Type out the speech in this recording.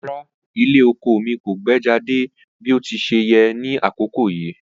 Rara, ilẹ oko mi ko gbejade bi o ti ṣe yẹ ni akoko yii